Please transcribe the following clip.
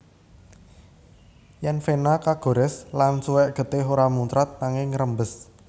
Yèn vena kagorès lan suwèk getih ora muncrat nanging ngrembes